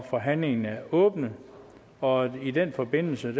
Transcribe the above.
forhandlingen er åbnet og i den forbindelse